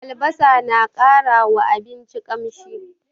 Albasa na ƙara wa abinci ƙamshi.